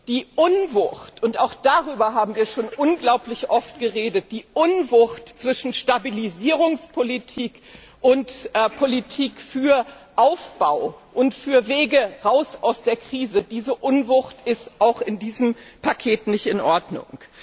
Die Unwucht und auch darüber haben wir schon unglaublich oft geredet zwischen Stabilisierungspolitik und Politik für Aufbau und für Wege heraus aus der Krise ist auch in diesem Paket nicht in Ordnung.